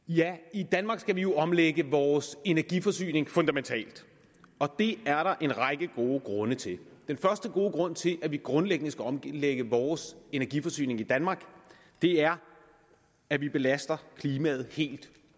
i danmark skal vi jo omlægge vores energiforsyning fundamentalt og det er der en række gode grunde til den første gode grund til at vi grundlæggende skal omlægge vores energiforsyning i danmark er at vi belaster klimaet helt